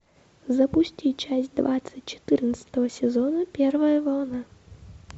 запусти часть двадцать четырнадцатого сезона первая волна